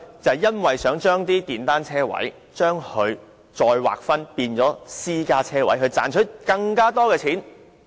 這是因為想把電單車車位再劃分為私家車車位，以賺取更多錢。